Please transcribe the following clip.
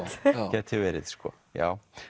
gæti verið já